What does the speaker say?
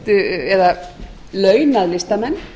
styrkt eða launað listamenn